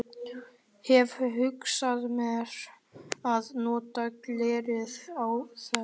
Hefi hugsað mér að nota glerið í þær.